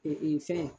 fɛn